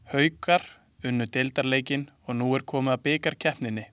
Haukar unnu deildarleikinn og nú er komið að bikarkeppninni.